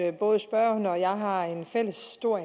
at både spørgeren og jeg har en stor